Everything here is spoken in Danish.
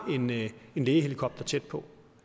en lægehelikopter tæt på